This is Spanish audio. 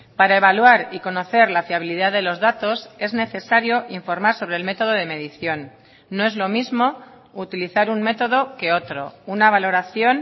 para evaluar y conocer la fiabilidad de los datos es necesario informar sobre el método de medición no es lo mismo utilizar un método que otro una valoración